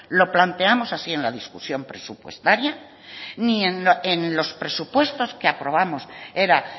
lo planteamos así en la discusión presupuestaria ni en los presupuestos que aprobamos era